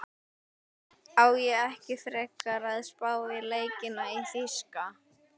Á ég ekki frekar að spá í leikina í þýska?